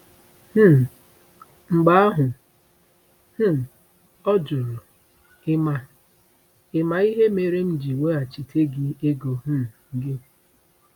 um Mgbe ahụ um ọ jụrụ, “Ị ma “Ị ma ihe mere m ji weghachite gị ego um gị?”